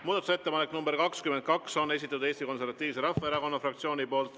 Muudatusettepaneku nr 22 on esitanud Eesti Konservatiivse Rahvaerakonna fraktsioon.